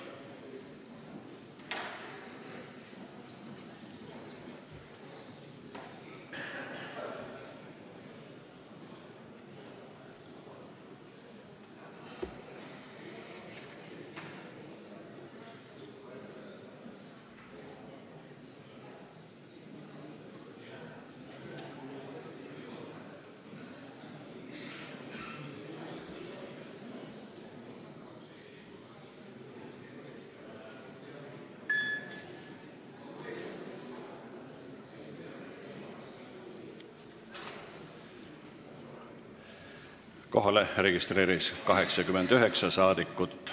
Kohaloleku kontroll Kohalolijaks registreerus 89 rahvasaadikut.